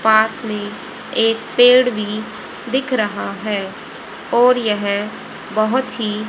पास में एक पेड़ भी दिख रहा है और यह बहुत सी--